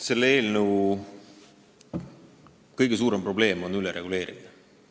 Selle eelnõu kõige suurem probleem on ülereguleerimine.